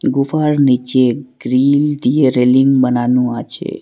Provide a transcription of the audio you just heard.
গুফার নিচে গ্রিল দিয়ে রেলিং বানানো আছে।